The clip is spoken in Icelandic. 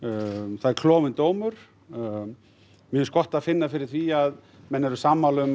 það er klofinn dómur mér finnst gott að finna fyrir því að menn eru sammála um